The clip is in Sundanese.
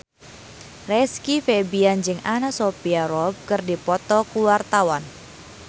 Rizky Febian jeung Anna Sophia Robb keur dipoto ku wartawan